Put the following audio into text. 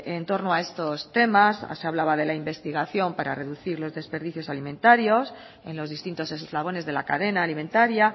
en torno a estos temas se hablaba de la investigación para reducir los desperdicios alimentarios en los distintos eslabones de la cadena alimentaria